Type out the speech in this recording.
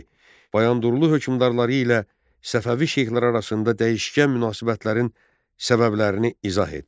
Bayandurlu hökmdarları ilə Səfəvi şeyxləri arasında dəyişkən münasibətlərin səbəblərini izah et.